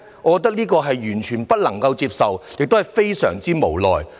我覺得這完全不能夠接受，亦感到非常無奈。